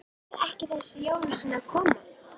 Fer ekki þessi jólasveinn að koma?